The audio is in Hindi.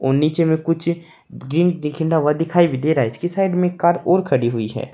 और नीचे में कुछ हुआ दिखाई भी दे रहा है उसकी साइड में एक कार और खडी हुई है।